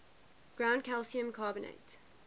ground calcium carbonate